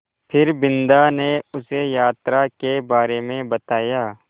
फिर बिन्दा ने उसे यात्रा के बारे में बताया